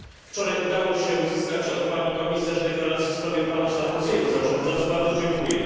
Wczoraj udało się uzyskać od pani komisarz deklarację w sprawie planu Sarkozy'ego, za co bardzo dziękuję.